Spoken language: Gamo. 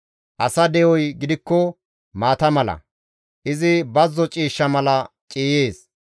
Asa de7oy gidikko maata mala; izi bazzo ciishsha mala ciiyees.